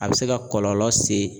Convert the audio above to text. A bɛ se ka kɔlɔlɔ se